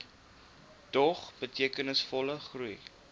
dog betekenisvolle groei